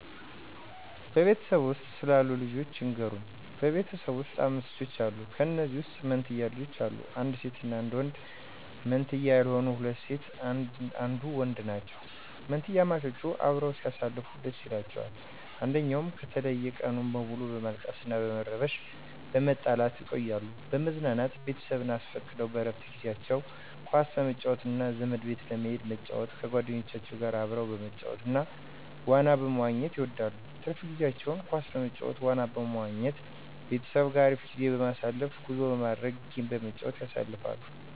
በቤተሰብዎ ውስጥ ስላሉት ልጆች ይንገሩን? በቤት ውስጥ 5 ልጆች አሉ ከንዚያም ውስጥ መንትያ ልጆች አሉ አንድ ሴት እና አንድ ወንድ መንትያ ያልሆኑት ሁለት ሴት አንዱ ወንድ ናቸው። ምንትያማቾች አበረው ሲያሳልፉ ደስ ይላቸዋል አንድኝው ከተለየ ቀኑን ሙሉ በማልቀስ በመረበሺ በመጣላት ይቆያሉ። ለመዝናናት ቤተሰብ አስፈቅደው በረፍት ጊዜአቸው ኳስ መጫወት እና ዘመድ ቤት በመሂድ መጫወት ከጎደኞቻቸው ጋር አብረው መጫወት እና ዋና መዋኝት ይወዳሉ። ትርፍ ጊዜቸውን ኳስ በመጫወት ዋና ቦታ በመዋኝት ቤተሰብ ጋር አሪፍ ጊዜ በማሳለፍ ጉዞ በማድረግ ጌም በመጫወት ያሳልፋሉ።